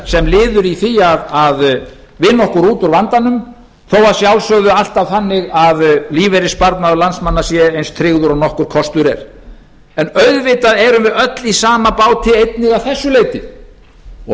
sem liður í því að vinna okkur út úr vandanum þó að sjálfsögðu alltaf þannig að lífeyrissparnaður landsmanna sé eins tryggður og nokkur kostur er en auðvitað erum við öll í sama báti einnig að þessu leyti og